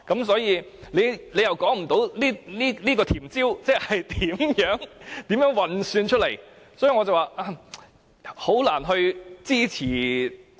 所以，政府未能說出這"甜招"是如何運算出來，因此，我表示我難以支持......